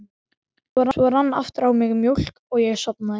Svo rann aftur á mig mók og ég sofnaði.